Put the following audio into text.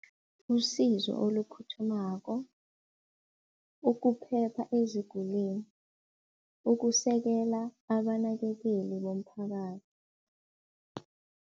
Usizo oluphuthumako, ukuphepha ezigulini, ukusekela abanakekeli bomphakathi.